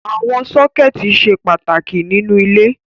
Àwọn sọ́kẹ́tì ṣe pàtàkì nínú ilé.